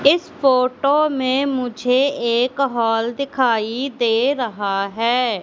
इस फोटो में मुझे एक हॉल दिखाई दे रहा है।